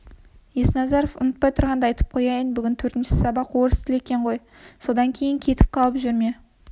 есназаров ұмытпай тұрғанда айтып қояйын бүгін төртінші сабақ орыс тілі ғой содан кейін кетіп қалып жүрме